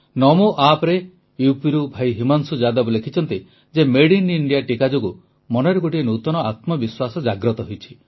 ନମୋ ଆପ୍ରେ ୟୁପିରୁ ଭାଇ ହିମାଂଶୁ ଯାଦବ ଲେଖିଛନ୍ତି ଯେ ମେଡଇନ୍ଇଣ୍ଡିଆ ଟିକା ଯୋଗୁଁ ମନରେ ଗୋଟିଏ ନୂତନ ଆତ୍ମବିଶ୍ୱାସ ଜାଗ୍ରତ ହୋଇଛି